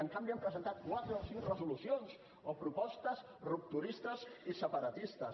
en canvi han presentat quatre o cinc resolucions o propostes rupturistes i separatistes